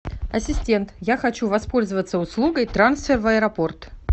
ассистент я хочу воспользоваться услугой трансфер в аэропорт